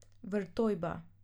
Vrtojba.